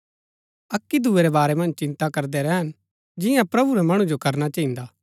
अक्की दूये रै बारै मन्ज चिन्ता करदै रैहन जियां प्रभु रै मणु जो करना चहिन्दा